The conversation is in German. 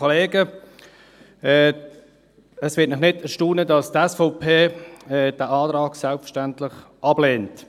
Es wird Sie nicht erstaunen, dass die SVP diesen Antrag selbstverständlich ablehnt.